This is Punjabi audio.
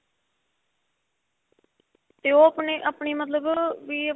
ਤੇ ਉਹ ਆਪਣੀ ਆਪਣੀ ਮਤਲਬ ਵੀ